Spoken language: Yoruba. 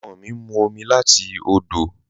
Awọn ọmọ mi ń mú omi láti òdò